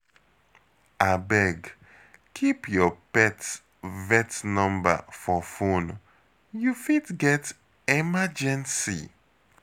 Abeg, keep your pet vet number for phone, you fit get emergency.